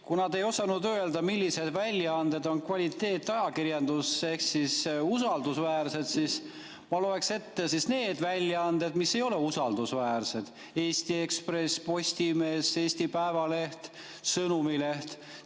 Kuna te ei osanud öelda, millised väljaanded on kvaliteetajakirjandus ehk usaldusväärsed, siis ma loeksin ette need väljaanded, mis ei ole usaldusväärsed: Eesti Ekspress, Postimees, Eesti Päevaleht, Sõnumileht.